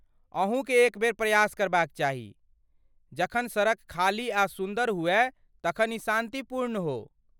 अहूँकेँ एक बेर प्रयास करबाक चाही, जखन सड़क खाली आ सुन्दर हुअय तखन ई शान्तिपूर्ण हो।